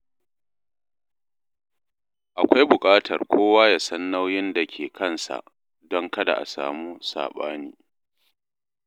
Akwai buƙatar kowa ya san nauyin da ke kansa don kada a samu saɓani.